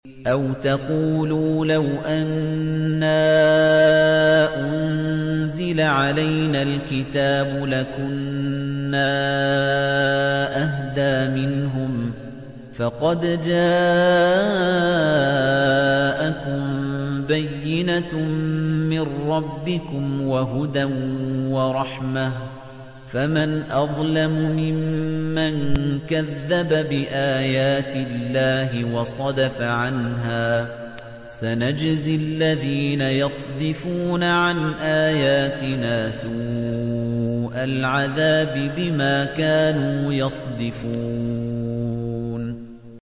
أَوْ تَقُولُوا لَوْ أَنَّا أُنزِلَ عَلَيْنَا الْكِتَابُ لَكُنَّا أَهْدَىٰ مِنْهُمْ ۚ فَقَدْ جَاءَكُم بَيِّنَةٌ مِّن رَّبِّكُمْ وَهُدًى وَرَحْمَةٌ ۚ فَمَنْ أَظْلَمُ مِمَّن كَذَّبَ بِآيَاتِ اللَّهِ وَصَدَفَ عَنْهَا ۗ سَنَجْزِي الَّذِينَ يَصْدِفُونَ عَنْ آيَاتِنَا سُوءَ الْعَذَابِ بِمَا كَانُوا يَصْدِفُونَ